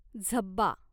झब्बा